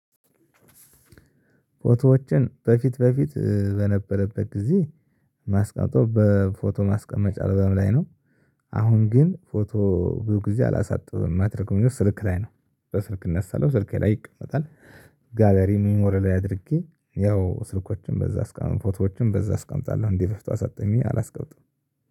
ፎቶዎችን በፊት በፊት በነበረበት ጊዜ ማስቀምጠው በፎቶ ማስቀመጫ አለበም ላይ ነው። አሁን ግን ፎቶ ብዙ ጊዜ አላሳጥብም ማደርገው ስልክ ላይ ነው በስልክ እነሳለሁ ስልኬ ላይ ይቀመጣል። ጋለሪ ሚሞሪ ላይ አድርጌ ያው ስልኮችን በዛ ፎቶዎችን በዛ አስቀምጣለሁ እንደበፊቱ አሳጥቤ አላስቀምጥም።